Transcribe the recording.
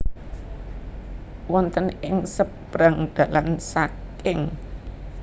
Wonten ing sebrang dalan saking